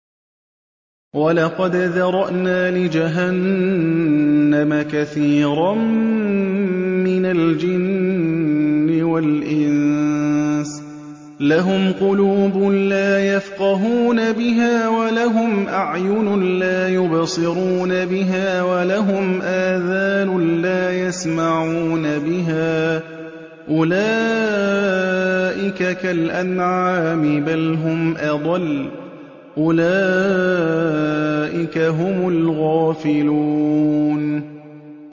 وَلَقَدْ ذَرَأْنَا لِجَهَنَّمَ كَثِيرًا مِّنَ الْجِنِّ وَالْإِنسِ ۖ لَهُمْ قُلُوبٌ لَّا يَفْقَهُونَ بِهَا وَلَهُمْ أَعْيُنٌ لَّا يُبْصِرُونَ بِهَا وَلَهُمْ آذَانٌ لَّا يَسْمَعُونَ بِهَا ۚ أُولَٰئِكَ كَالْأَنْعَامِ بَلْ هُمْ أَضَلُّ ۚ أُولَٰئِكَ هُمُ الْغَافِلُونَ